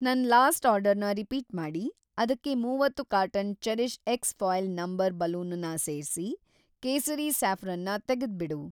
ನನ್‌ ಲಾಸ್ಟ್‌ ಆರ್ಡರ್‌ನ ರಿಪೀಟ್‌ ಮಾಡಿ, ಅದಕ್ಕೆ ಮೂವತ್ತು carton CherishX foil number balloon ನ ಸೇರ್ಸಿ, ಕೇಸರಿ ಸಾಫ್ರೋನ್‌ ನ ತೆಗೆದ್ಬಿಡು.